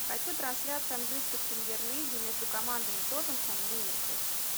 хочу трансляцию английской премьер лиги между командами тоттенхэм ливерпуль